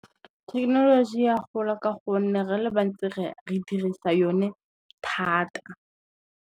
Thekenoloji e a gola ka gonne re le bantsi re dirisa yone thata.